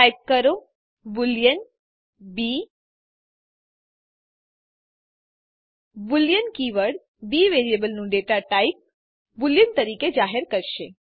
type કરો boolean B boolean keyword B વેરિયેબલનું data type boolean તરીકે જાહેર કરશે